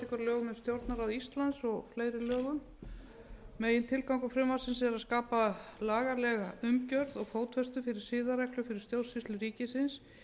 um stjórnarráð íslands og fleiri lögum megintilgangur frumvarpsins er að skapa lagalega umgjörð og fótfestu fyrir siðareglur fyrir stjórnsýslu ríkisins